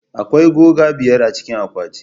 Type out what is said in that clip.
Akwai goga biyar a cikin akwati.